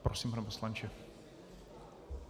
Prosím, pane poslanče.